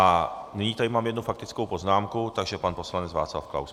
A nyní tady mám jednu faktickou poznámku, takže pan poslanec Václav Klaus.